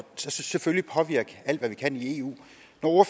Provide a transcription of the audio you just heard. så selvfølgelig påvirker alt hvad vi kan i eu